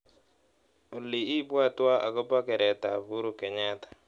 Olly, ibwatwtwa akobo keretab Uhuru Park.